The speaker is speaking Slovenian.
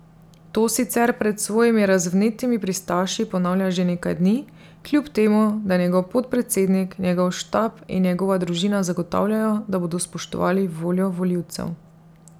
To sicer pred svojimi razvnetimi pristaši ponavlja že nekaj dni, kljub temu, da njegov podpredsednik, njegov štab in njegova družina zagotavljajo, da bodo spoštovali voljo volivcev.